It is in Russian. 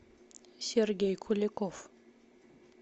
сергей куликов